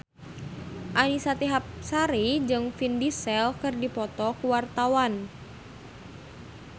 Annisa Trihapsari jeung Vin Diesel keur dipoto ku wartawan